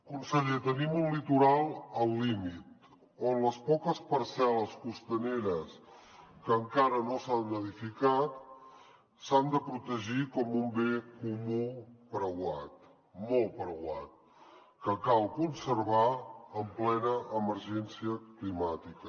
conseller tenim un litoral al límit on les poques parcel·les costaneres que encara no s’han edificat s’han de protegir com un bé comú preuat molt preuat que cal conservar en plena emergència climàtica